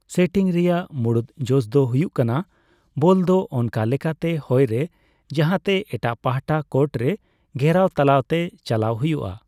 Setting ᱨᱮᱭᱟᱜ ᱢᱩᱲᱩᱫ ᱡᱚᱥ ᱫᱚ ᱦᱩᱭᱩᱜ ᱠᱟᱱᱟ ᱵᱚᱞ ᱫᱚ ᱚᱱᱠᱟ ᱞᱮᱠᱟᱛᱮ ᱦᱚᱭ ᱨᱮ ᱡᱟᱦᱟᱸᱛᱮ ᱮᱴᱟᱜ ᱯᱟᱦᱴᱟ ᱠᱳᱴ ᱨᱮ ᱜᱷᱮᱨᱟᱣ ᱛᱟᱞᱟᱛᱮ ᱪᱟᱞᱟᱣ ᱦᱩᱭᱩᱜᱼᱟ ᱾